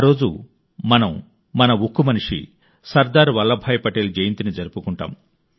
ఆ రోజు మనం మన ఉక్కు మనిషి సర్దార్ వల్లభాయ్ పటేల్ జయంతిని జరుపుకుంటాం